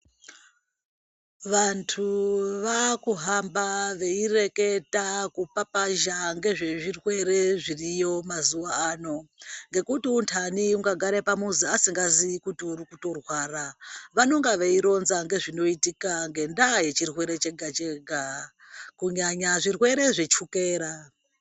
Vantu vakuhamba veireketa kupapazha ngezvezvirwere zviriyo mazuwa ano ngekuti untani ungagare pamuzi usingazii kuti urikutorwara. Vanenge veironza ngezvinoitika ngendaa yechirwere chega-chega kunyanya zvirwere zvechukera.